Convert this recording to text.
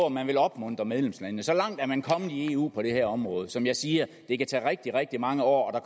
at man vil opmuntre medlemslandene så langt er man kommet i eu på det her område som jeg siger det kan tage rigtig rigtig mange år og